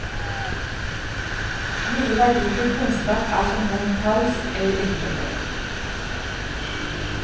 Mye verdifull kunnskap er som nevnt taus eller innforstått.